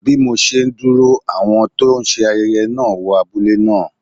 Bí mo ṣe ń dúró, àwọn tó ń ṣe ayẹyẹ náà wọ abúlé náà.